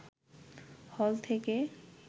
হল থেকে